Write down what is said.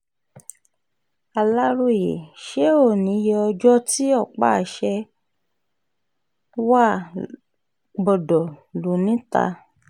aláròye ṣé ó níye ọjọ́ tí ọ̀pá-àṣẹ wàá gbọdọ̀ lọ níta